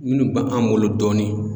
Minnu b' an bolo dɔɔni.